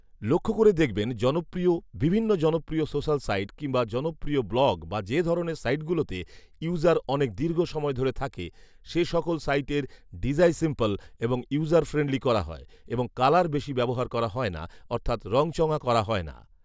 লক্ষ করে দেখবেন জনপ্রিয় বিভিন্ন জনপ্রিয় সোসাল সাইট কিংবা জনপ্রিয় ব্লগ বা যে ধরনের সাইট গুলোতে ইউজার অনেক দীর্ঘ সময় ধরে থাকে সে সকল সাইটের ডিজাই সিম্পল এবং ইউজার ফ্রেন্ডলী করা হয় এবং কালার বেশি ব্যাবহার করা হয়না অর্থৎ রঙচঙা করা হয় না